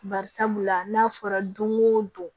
Bari sabula n'a fɔra don go don